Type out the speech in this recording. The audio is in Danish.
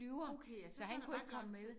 Okay ja så så er der ret langt